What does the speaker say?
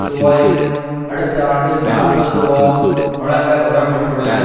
ரூபாவும் அடுத்த ஆண்டு நாற்பது ரூபாவும் வழங்க உடன்பட்டுள்ளனர்